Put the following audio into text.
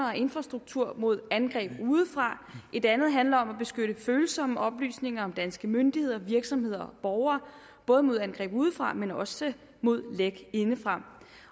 og infrastruktur mod angreb udefra et andet handler om at beskytte følsomme oplysninger om danske myndigheder virksomheder og borgere både mod angreb udefra men også mod læk indefra